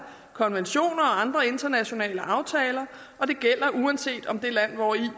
konventioner og andre internationale aftaler og det gælder uanset om det land hvori